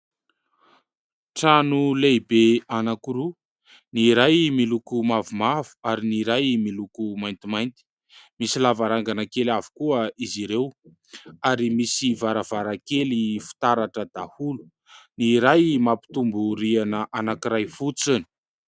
Trano lehibe anankiroa. Ny iray miloko mavomavo ary ny iray miloko maintimainty. Misy lavarangana kely avokoa izy ireo ary misy varavarakely fitaratra daholo. Ny iray mampitombo rihana anankiray fotsiny.